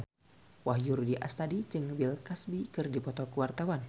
Wahyu Rudi Astadi jeung Bill Cosby keur dipoto ku wartawan